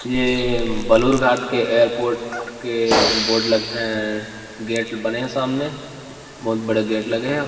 के बेलूर घाट के एयरपोर्ट के बोर्ड लगे ऐ गेट बने हे सामने बहुत बड़े गेट लगे हे।